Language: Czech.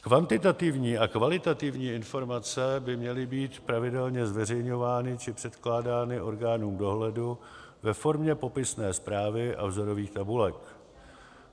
Kvantitativní a kvalitativní informace by měly být pravidelně zveřejňovány či předkládány orgánům dohledu ve formě popisné zprávy a vzorových tabulek.